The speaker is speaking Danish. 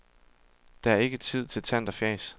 Der er ikke tid til tant og fjas.